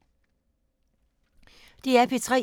DR P3